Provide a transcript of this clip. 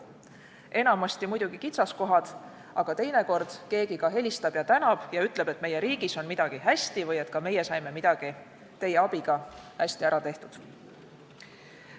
Enamasti muidugi kitsaskohad, aga teinekord keegi helistab, tänab ja ütleb, et meie riigis on midagi hästi või et ka meie saime midagi teie abiga hästi ära tehtud.